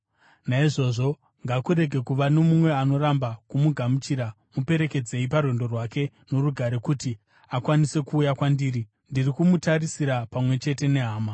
Naizvozvo, ngakurege kuva nomumwe anoramba kumugamuchira. Muperekedzei parwendo rwake norugare kuti akwanise kuuya kwandiri. Ndiri kumutarisira pamwe chete nehama.